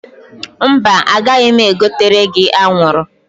Mba, agaghị m egotere gi anwụrụ